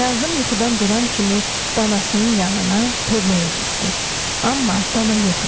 Kazım yuxudan duran kimi danasının yanına tövləyə getdi, amma dana yox idi.